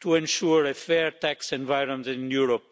to ensure a fair tax environment in Europe.